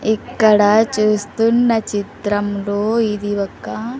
ఇక్కడ చూస్తున్న చిత్రంలో ఇది ఒక.